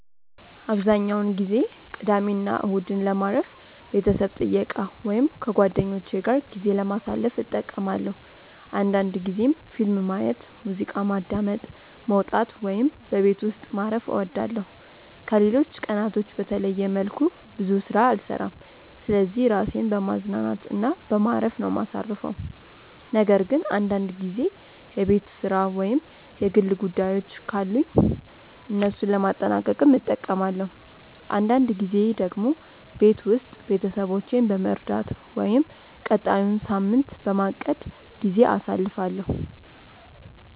አብዛኛውን ጊዜ ቅዳሜና እሁድን ለማረፍ፣ ቤተሰብ ጥየቃ ወይም ከጓደኞቼ ጋር ጊዜ ለማሳለፍ እጠቀማለሁ አንዳንድ ጊዜም ፊልም ማየት፣ ሙዚቃ ማዳመጥ፣ መውጣት ወይም በቤት ውስጥ ማረፍ እወዳለሁ። ከሌሎች ቀናቶች በተለየ መልኩ ብዙ ስራ አልሰራም ስለዚህ ራሴን በማዝናናት እና በማረፍ ነው ማሳርፈው ነገር ግን አንዳንድ ጊዜ የቤት ስራ ወይም የግል ጉዳዮችን ካሉኝ እነሱን ለማጠናቀቅም እጠቀማለሁ። አንዳንድ ጊዜ ደግሞ ቤት ውስጥ ቤተሰቦቼን በመርዳት ወይም ቀጣዩን ሳምንት በማቀድ ጊዜ አሳልፋለሁ።